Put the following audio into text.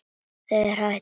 Þeir mættu treysta því.